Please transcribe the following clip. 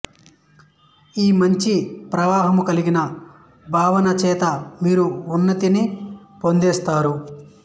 ఈ మంచి ప్రవాహము కలిగిన భావన చేత మీరు ఉన్నతిని పొందేస్తారు